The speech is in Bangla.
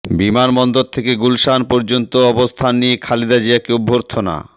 বিমানবন্দর থেকে গুলশান পর্যন্ত অবস্থান নিয়ে খালেদা জিয়াকে অভ্যর্থনা